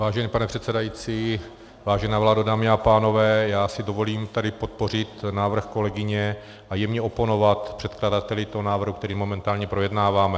Vážený pane předsedající, vážená vládo, dámy a pánové, já si dovolím tady podpořit návrh kolegyně a jemně oponovat předkladateli toho návrhu, který momentálně projednáváme.